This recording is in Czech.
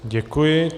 Děkuji.